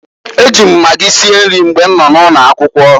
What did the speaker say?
E ji m magi sie nri mgbe nọ n'ụlọ akwụkwọ.